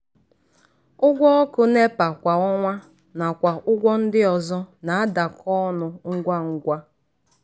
ụgwọ ọkụ nepa kwa ọnwa nakwa ụgwọ ndị ọzọ na-adakọ ọnụ ngwa ngwa.